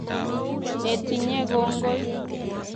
netinye kongoi